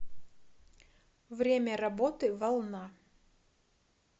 время работы волна